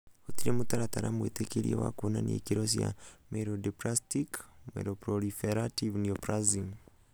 Gũtirĩ mũtaratara mũĩtĩkĩrie wa kũonania ikĩro cia myelodysplastic/myeloproliferative neoplasms.